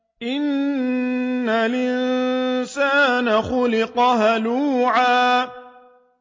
۞ إِنَّ الْإِنسَانَ خُلِقَ هَلُوعًا